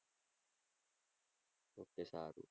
okay સારું.